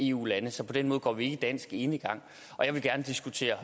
eu lande så på den måde går vi ikke dansk enegang jeg vil gerne diskutere